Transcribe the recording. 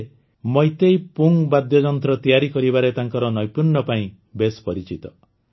ସେ ମୈତେଇ ପୁଙ୍ଗ୍ ବାଦ୍ୟଯନ୍ତ୍ର ତିଆରି କରିବାରେ ତାଙ୍କର ନୈପୁଣ୍ୟ ପାଇଁ ବେଶ ପରିଚିତ